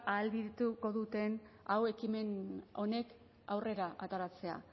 ahalbideratuko duten hau ekimen honek aurrera ateratzea